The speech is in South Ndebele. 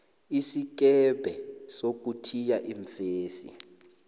isikebhe sokuthiya iimfesi